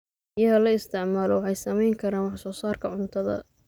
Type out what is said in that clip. Biyaha la isticmaalo waxay saameyn karaan wax soo saarka cuntada.